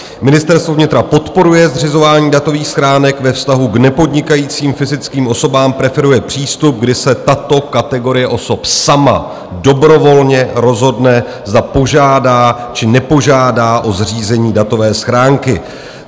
Ministerstvo vnitra podporuje zřizování datových schránek ve vztahu k nepodnikajícím fyzickým osobám, preferuje přístup, kdy se tato kategorie osob sama dobrovolně rozhodne, zda požádá, či nepožádá o zřízení datové schránky.